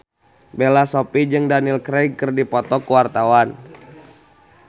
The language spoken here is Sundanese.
Bella Shofie jeung Daniel Craig keur dipoto ku wartawan